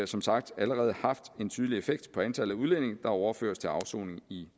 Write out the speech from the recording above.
som sagt allerede haft en tydelig effekt på antallet af udlændinge der overføres til afsoning i